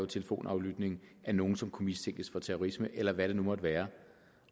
telefonaflytning af nogen som kunne mistænkes for terrorisme eller hvad det nu måtte være